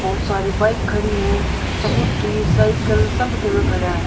बहुत सारी बाइक खड़ी है स्कूटी साइकिल सब एके में खड़ा है।